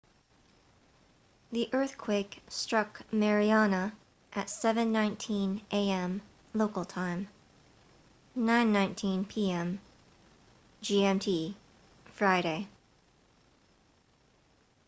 the eathquake struck mariana at 07:19 a.m. local time 09:19 p.m. gmt friday